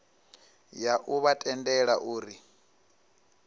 ya u vha tendela uri